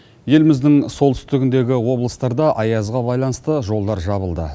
еліміздің солтүстігіндегі облыстарда аязға байланысты жолдар жабылды